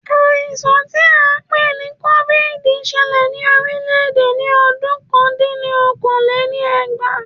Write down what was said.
Àìsàn tí a n pè ní cóvìdì ṣẹlẹ̀ ní orílẹ̀-èdè ní ọdún ọ̀kan dín ní okòó-lé-ní-ẹgbàá